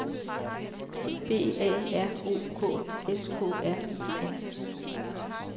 B A R O K S K R I N